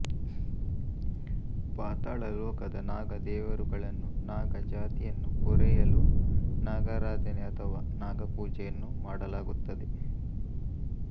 ಪಾತಾಳ ಲೋಕದ ನಾಗ ದೇವರುಗಳನ್ನುನಾಗ ಜಾತಿಯನ್ನು ಪೊರೆಯಲು ನಾಗಾರಾಧನೆ ಅಥವಾ ನಾಗ ಪೋಜೆಯನ್ನು ಮಾಡಲಾಗುತ್ತದೆ